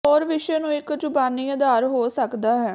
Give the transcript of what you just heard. ਹੋਰ ਵਿਸ਼ੇ ਨੂੰ ਇੱਕ ਜ਼ੁਬਾਨੀ ਆਧਾਰ ਹੋ ਸਕਦਾ ਹੈ